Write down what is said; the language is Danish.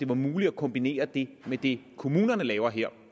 var muligt at kombinere det med det kommunerne laver